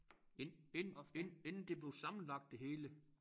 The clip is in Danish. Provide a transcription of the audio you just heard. Ind ind ind inden det blev sammenlagt det hele